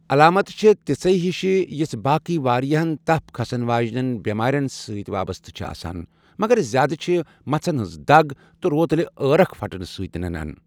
علامتہٕ چھےٚ تِژھے ہِشہِ یِژھہٕ باقٕے واریاہن تپھ كھسن واجِنین بٮ۪مارٮ۪ن سۭتۍ وابستہ چھےٚ آسان، مگر زیادہ چھ مژھِن ہٕنٛز دَگ تہٕ رۄتلہِ عٲرق پھٹنہ سۭتۍ ننان ۔